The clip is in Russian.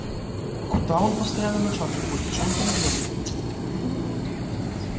куда он постоянно на час уходит что он там делает ёбаны в рот пиздец